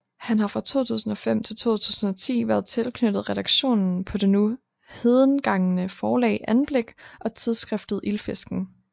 Han har fra 2005 til 2010 været tilknyttet redaktionen på det nu hedengangne forlag Anblik og tidsskriftet Ildfisken